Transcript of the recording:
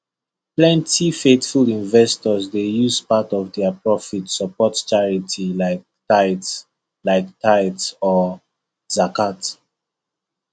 plenty faithful investors dey use part of their profit support charity like tithe like tithe or zakat